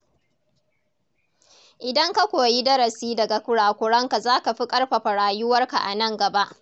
Idan ka koyi darasi daga kurakuranka, za ka fi ƙarfafa rayuwarka a nan gaba.